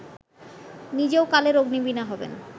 নিজেও কালের অগ্নিবীণা হবেন